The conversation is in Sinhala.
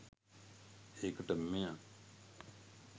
ඒකට මෙයා